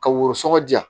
Ka woro sɔgɔ